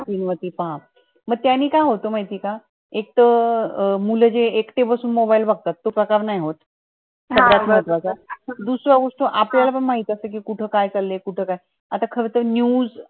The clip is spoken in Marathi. मोठया screen वरती पहा म त्यांनी काय होत माहित ये का एक त मुलं जे एकटे बसून mobile बगतात त नाय होत दुसरा वस्तू आपल्यला पण माहित असतं कि कुठं काय चालय कुठं काय आता खरं त news screen वरती पहा